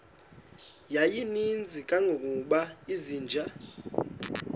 yayininzi kangangokuba izinja